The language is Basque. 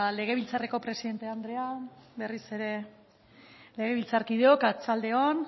legebiltzarreko presidente andrea berriz ere legebiltzarkideok arratsalde on